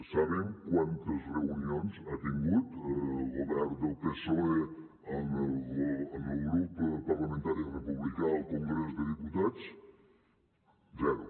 saben quantes reunions ha tingut el govern del psoe amb el grup parlamentari republicà al congrés de diputats zero